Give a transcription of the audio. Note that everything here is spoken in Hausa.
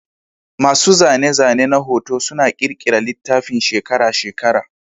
Masu zane-zane na hoto suna ƙirƙira littafin shekara-shekara.